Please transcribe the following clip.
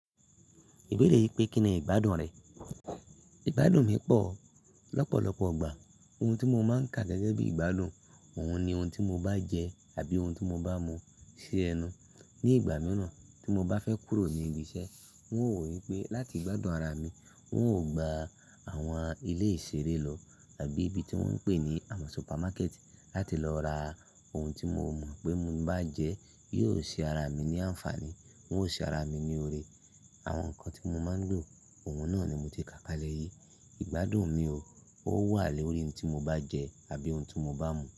Ibéèrè pé kí ni ìgbádùn rẹ̀? Ìgbádùn mi pọ̀ lọ́pọ̀lọpọ̀ igbà. Ohun tí mo máa ń ka gẹ́gẹ́ bí ìgbádùn, òun ni ohun tí mo bá jẹ àbí ohun tí mo bá mu sí ẹnu. Ni ìgbà mìíràn tí mo bá fẹ́ kúrò ní ibi iṣẹ́, wọn ò wò wípé láti gbádùn ara mi, wọn ó gba àwọn ilé ìṣeré lọ àbí ibi tí wọ́n ń pè ní àwọn supermarket láti lọ ra ohun tí mo mọ̀ pé mo bá jẹẹ́ yóò ṣe ara mi ní àǹfààní, wọn ó ṣe ara mi ní oore. Àwọn nǹkan tí mo máa ń lo, òun náà ni mo ti ká kalẹ̀ yìí. Ìgbádùn mi ò, ó wà lórí ohun tí mo bá jẹ àbí ohun tí mo bá mu.